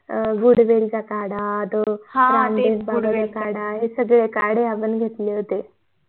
अं गुडवेल चा काढा चा काढा हे सगळे काढे आपण घेतले होते